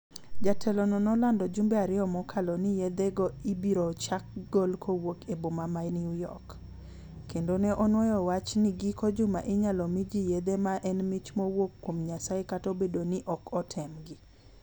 Jatelono nolando jumbe ariyo mokalo ni yethego ibiro chak gol kuwuok e boma ma New york, kendo ne onuoyo wacha ni giko juma inyalo mi ji yethe ma en mich mowuok kuom Nyasaye kata obedo ni ne ok otemgi.